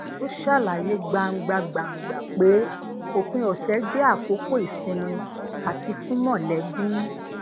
ó ṣàlàyé gbangbagbangba pé òpin òsè jé àkókò ìsinmi ati fun molebi